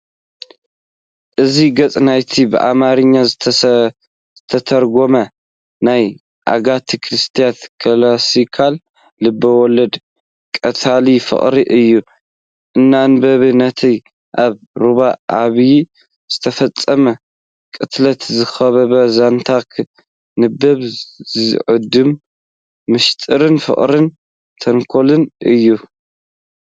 እዚ ገጽ ናይቲ ብኣምሓርኛ ዝተተርጎመ ናይ ኣጋታ ክርስቲ ክላሲካል ልብ-ወለድ "ቀታሊ ፍቕሪ" እዩ። ንኣንባቢ ነቲ ኣብ ሩባ ኣባይ ዝተፈጸመ ቅትለት ዝኸበበ ዛንታ ከንብብ ዝዕድም ምስጢርን ፍቕርን ተንኮልን እዩ።